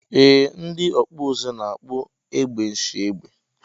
Ee ndi ọkpụzụ na akpụ egbe nshiegbe.